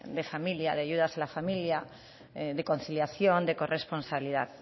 de familia de ayudas a la familia de conciliación de corresponsalidad